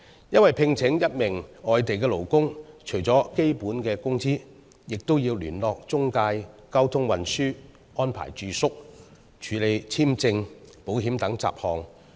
因為，聘請一名外地勞工，除了支付基本工資外，亦要聯絡中介、安排交通運輸和住宿，以及處理簽證和保險等雜項。